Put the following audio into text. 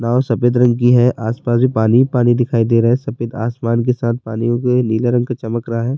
now سفید رنگ کی ہے، اسس پاسس پانی ہی پانی دکھایی دے رہا ہے، سفید آسمان ک ساتھ پانی نیلا رنگ کی چمک رہا ہے-